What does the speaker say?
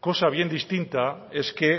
cosa bien distinta es que